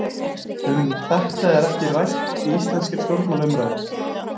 Um þetta er ekki rætt í íslenskri stjórnmálaumræðu.